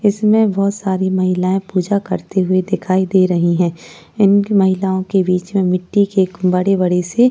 इसमें बहोत सारी महिलायें पूजा करती हुइ दिखाइ दे रही हैं। इन महिलाओं के बिच में मिट्टी के बड़ी-बड़ी सी --